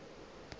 e be e le monna